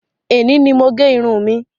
Èní ni mo gẹ irun mi.